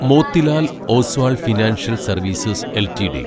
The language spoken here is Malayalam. Motilal Oswal financial services LTD